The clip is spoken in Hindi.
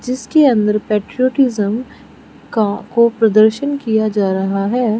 जिसके अंदर पैट्रियोटिज्म का प्रदर्शन किया जा रहा है।